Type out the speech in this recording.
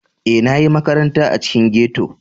E, na ƴi maƙaranta a ciƙin ghetto.